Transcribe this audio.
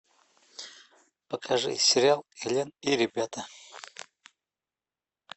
покажи сериал элен и ребята